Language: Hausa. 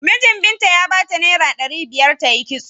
Minjin Binta ya bata naira ɗari biyar ta yi kitso.